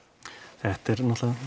þetta er náttúrulega